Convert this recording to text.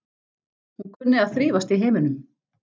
Hún kunni að þrífast í heiminum.